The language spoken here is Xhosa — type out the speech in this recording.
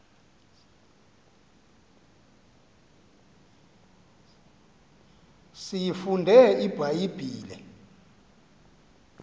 siyifunde ibha yibhile